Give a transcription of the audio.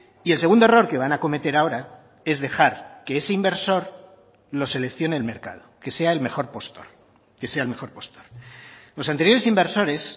y el segundo error que van a cometer ahora es dejar que ese inversor lo seleccione el mercado que sea el mejor postor que sea el mejor postor los anteriores inversores